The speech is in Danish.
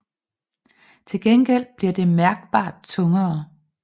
Til gengæld bliver det mærkbart tungere